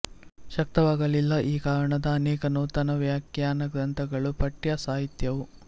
ಶಕ್ತವಾಗಲಿಲ್ಲ ಈ ಕಾರಣದಿಂದ ಅನೇಕ ನೂತನ ವ್ಯಾಖ್ಯಾನಗ್ರಂಥಗಳೂ ಪಠ್ಯ ಸಾಹಿತ್ಯವೂ